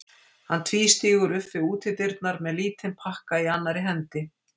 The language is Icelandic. Hann tvístígur upp við útidyrnar með lítinn pakka í annarri hendi.